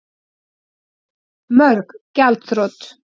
Mörg gjaldþrot